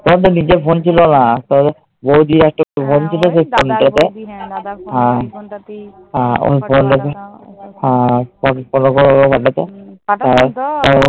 তোমার তো নিজের phone ছিল না। বউদির একটা phone ছিল, ওই phone টাতেই